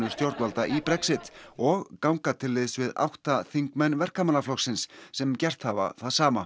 stjórnvalda í Brexit og ganga til liðs við átta þingmenn Verkamannaflokksins sem gert hafa það sama